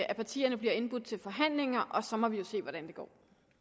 at partierne bliver indbudt til forhandlinger og så må vi jo se hvordan det går